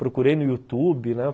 Procurei no YouTube, né?